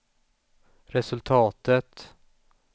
resultatet